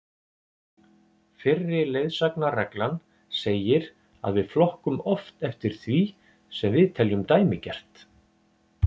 Fyrri leiðsagnarreglan segir að við flokkum oft eftir því sem við teljum dæmigert.